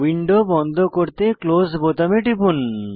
window বন্ধ করতে close বোতামে টিপুন